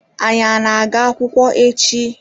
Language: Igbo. Anyi ana aga akwukwo echi?